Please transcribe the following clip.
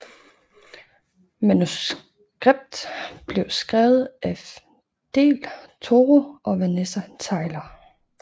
Manuskript blev skrevet af del Toro og Vanessa Taylor